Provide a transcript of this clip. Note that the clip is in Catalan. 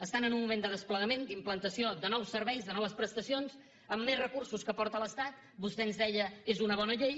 estan en un moment de desplegament d’implantació de nous serveis de noves prestacions amb més recursos que aporta l’estat vostè ens deia és una bona llei